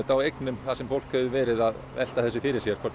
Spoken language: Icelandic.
á eignum þar sem fólk hefur verið að velta því fyrir sér hvort